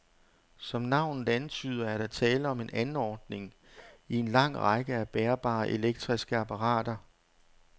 Som navnet antyder, er der tale om en anordning i en lang række af bærbare elektriske apparater.